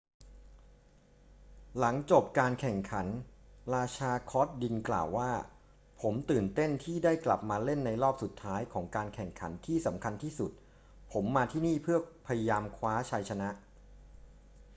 หลังจบการแข่งขัน ราชาคอร์ตดินกล่าวว่า ผมตื่นเต้นที่ได้กลับมาเล่นในรอบสุดท้ายของการแข่งขันที่สำคัญที่สุด ผมมาที่นี่เพื่อพยายามคว้าชัยชนะ